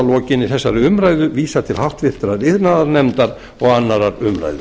lokinni þessari umræðu vísað til háttvirtrar iðnaðarnefndar og annarrar umræðu